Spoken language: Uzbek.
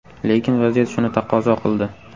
Lekin vaziyat shuni taqozo qildi.